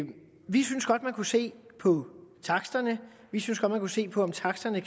man kunne se på taksterne vi synes godt at man kunne se på om taksterne